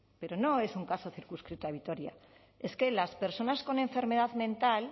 pero no es un caso circunscrito a vitoria es que las personas con enfermedad mental